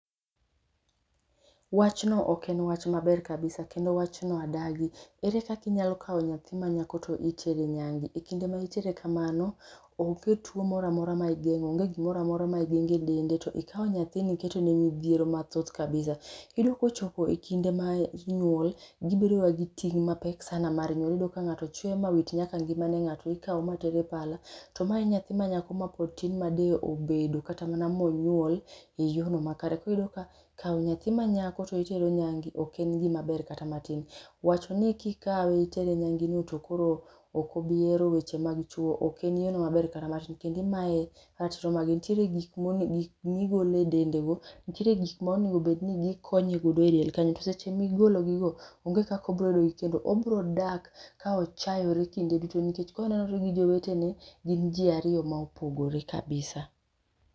Wach no ok en wach maber kabisa bkendo wachno adagi. Ere kaka inyalo kawo nyathi manyako to itero nyange. Kinde ma entiere kamano onge tuo moro amora ma igeng'o, onge gimoro amora ma igeng'o edende. Ikawo nyathino iketone midhiero mathoth kabisa. Iyudo kochopo ekinde ma inyuol, gibedoga gi ting' mapek sana, iyudo ka ng'ato chwe ma wit nyaka ngimane, ng'ato ikawo mater e pala to mae e nyathi manyako mapod tin ma de obedo kata mana monyuol e yorno makare. Koro iyudo ka kawo nyathi manyako to itero e nyange ok en gimaber kata matin. Wacho ni kikawe itere nyange to koro ok obi hero weche mag chuo ok en yiero maber kata matin kendo imaye atromane nitiere gik migolo e dendego, nitiere gik mikonye go edel kanyo to seche ma igologigo, onge kaka obiro yudogi kendo obiro dak ka ochayore kinde duto nikech ka onenore gi jowete, gin ji ariyo ma opogore kabisa.